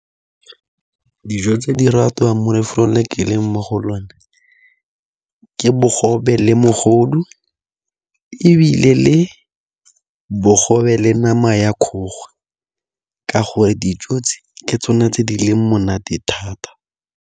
Dijo tse di ratwang mo lefelong le ke leng mo go lone, ke bogobe le mogodu ebile le bogobe le nama ya kgogo ka gore dijo tse ke tsone tse di leng monate thata.